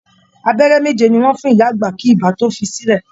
Abẹ́rẹ́ méje ni wọ́n fún ìyá àgbà kí ibà tó fi í sílẹ̀